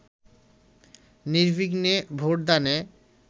নির্বিঘ্নে ভোটদানে